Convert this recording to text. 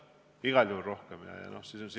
Igal juhul rohkem!